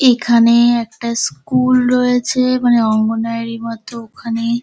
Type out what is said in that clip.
এখানে একটা স্কুল রয়েছে মানে অঙ্গনওয়াড়ীর মত ওখানে--